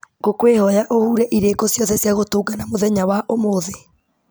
ngũkwĩhoya ũhure irĩko ciothe cia gũtũngana mũthenya wa ũmũthĩ